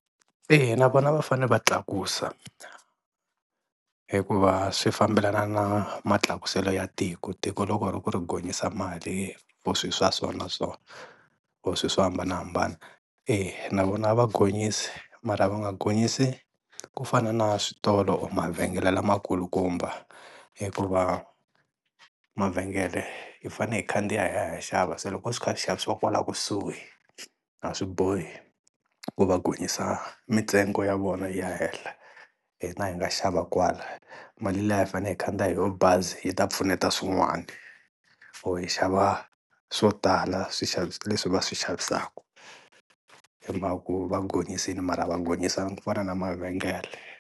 Eya, na vona va fanele va tlakusa, hikuva swi fambelana na matlakuselo ya tiko, tiko loko ri ku ri gonyisa mali for swi swa so na so or swilo swo hambanahambana e na vona a gonyisa mara, va nga gonyisi ku fana na switolo mavhengele lamakulukumba hikuva mavhengele hi fanele hi khandziya hi ya hi ya xava se loko swi kha swi xavisiwa kwala kusuhi a swi bohi ku va gonyisa mitsengo ya vona yi ya henhla. Hina hi nga xava kwala mali leyi a hi fanele hi khandziya hi yo bazi yi ta pfuneta swin'wana or hi xava swo tala swixavi leswi va swi xavisaka hi mhaka ku va gonyisile mara a va gonyisanga kufana na mavhengele.